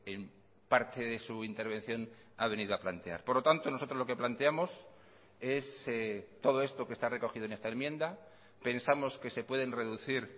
en parte de su intervención ha venido a plantear por lo tanto nosotros lo que planteamos es todo esto que está recogido en esta enmienda pensamos que se pueden reducir